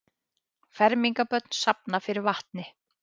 Fermingarbörn safna fyrir vatni